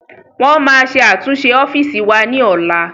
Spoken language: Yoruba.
Wọn máa ṣe àtúnṣe ọ́fíìsì wa ní ọ̀la